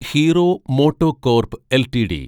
hero MotoCorp LTD